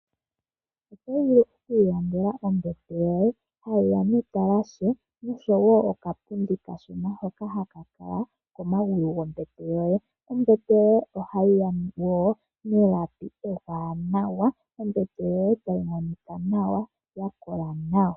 Oto vulu okwiilandela ombete yoye, ha yi ya netalashe nosho wo okapundi kashona hoka haka kala komagulu gombete yoye. Ombete yoye oha yi ya wo nelapi ewanawa. Ombete yoye tayi monika monika nawa ya kola nawa.